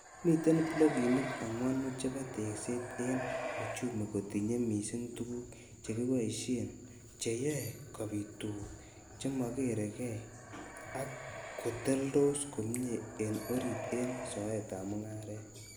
Miten blokinik angwanu chebo tekset en uchumi-kotinye missing tuguk chekiboishen cheyoe kobit tuguk chmo kergei ak koteldos komie en orit en soetab mung'aret.